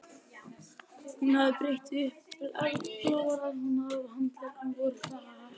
Hún hafði brett upp bláar ermarnar og handleggirnir voru hærðir.